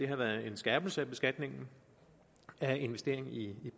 har været en skærpelse af beskatningen af investering i